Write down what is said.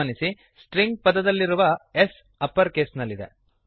ಗಮನಿಸಿ string string ಪದದಲ್ಲಿರುವ S S upper ಕೇಸ್ನಲ್ಲಿದೆ